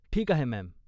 ठीक आहे, मॅम.